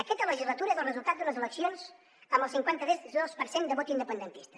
aquesta legislatura és el resultat d’unes eleccions amb el cinquanta dos per cent de vot independentista